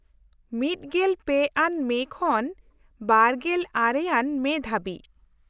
-᱑᱓ ᱟᱱ ᱢᱮ ᱠᱷᱚᱱ ᱒᱙ ᱟᱱ ᱢᱮ ᱫᱷᱟᱹᱵᱤᱡ ᱾